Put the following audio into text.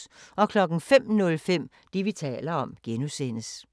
05:05: Det, vi taler om (G)